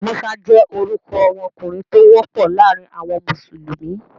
Musa jẹ́ orúkọ ọmọkùnrin tó wọ́pọ̀ láàrin àwọn mùsùlùmí.